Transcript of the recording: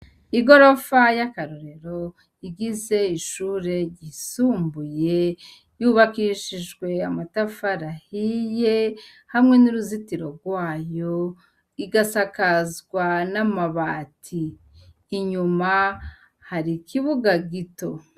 Igorofa y'akarorero igize ishure ryisumbuye yubakishijwe amatafari ahiye hamwe n'uruzitiro rwayo, igasakazwa n'amabati. Inyuma hari ikibuga gito.